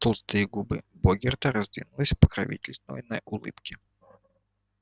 толстые губы богерта раздвинулись в покровительственной улыбке